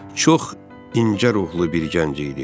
Çox incə ruhlu bir gənc idi.